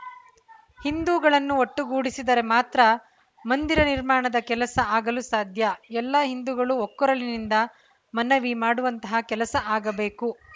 ಹಿಂದೂಗಳನ್ನು ಒಟ್ಟುಗೂಡಿಸಿದರೆ ಮಾತ್ರ ಮಂದಿರ ನಿರ್ಮಾಣದ ಕೆಲಸ ಆಗಲು ಸಾಧ್ಯ ಎಲ್ಲಾ ಹಿಂದೂಗಳು ಒಕ್ಕೊರಲಿನಿಂದ ಮನವಿ ಮಾಡುವಂತಹ ಕೆಲಸ ಆಗಬೇಕು